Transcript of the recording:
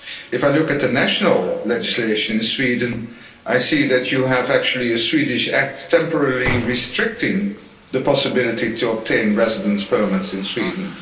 If I look at the national legislation in Sweden, I see that you have actually a Swedish act temporarily restricting the possibility to obtain residence permits in Sweden.